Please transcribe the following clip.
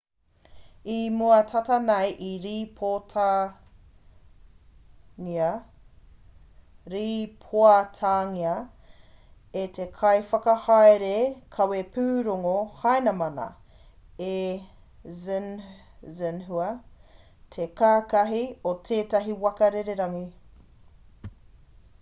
i mua tata nei i rīpoatangia e te kaiwhakahaere kawepūrongo hainamana e xinhua te kāhaki o tētahi waka rererangi